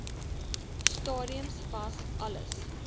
stadium was alles